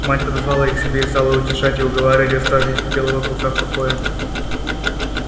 мать подозвала их к себе и стала утешать и уговаривать оставить белого клыка в покое